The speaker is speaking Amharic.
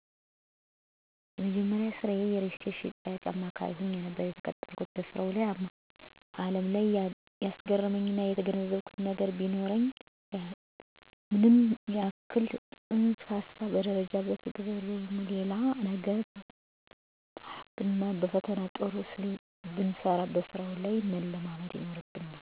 የመጀመሪያዬ ስራ የሪልስቴት የሽያጭ አማካሪ ሆኜ ነበር የተቀጠረኩት። በስራው አለም ላይ ያስገረመኝና የተገነዘብኩት ነገር ቢኖር ምንም ያክል በፅንሰ ሀሳብ ደረጃ ስለተግባቦት ወይም ሌላ ነገር ብንማርና በፈተናውም ጥሩ ብንሰራው በስራ ላይ መለማመድ ምንአይነት አስፈላጊ እንደሆነ ተረድቻለሁ። ዘሬ አዳዲስ ነገሮችን ለማየት ፍርሃት አንዳይሰማኝ አድርጓል፤ ብዙ ነገር አስተምሮኛል።